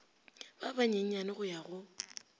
ba banyenyane go ya go